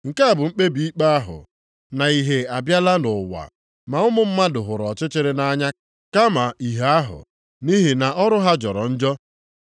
Nke a bụ mkpebi ikpe ahụ; na Ìhè abịala nʼụwa, ma ụmụ mmadụ hụrụ ọchịchịrị nʼanya kama ìhè ahụ, nʼihi na ọrụ ha jọrọ njọ.